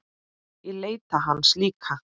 Ég leita hans líka.